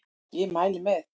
Ég mæli með